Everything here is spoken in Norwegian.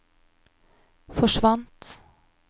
forsvant